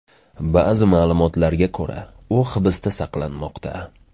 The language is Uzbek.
Ba’zi ma’lumotlarga ko‘ra, u hibsda saqlanmoqda.